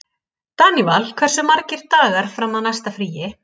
Daníval, hversu margir dagar fram að næsta fríi?